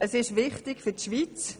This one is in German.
Es ist wichtig für die Schweiz.